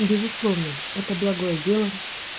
безусловно это благое дело